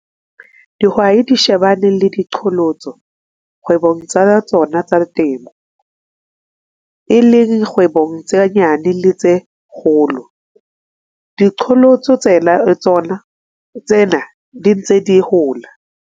Dihwai di shebane le diqholotso kwebong tsa tsona tsa temo, e leng kgwebong tse nyane le tse kgolo. Diqholotso tsena di ntse di hola.